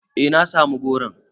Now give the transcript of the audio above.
Eh na samu goron.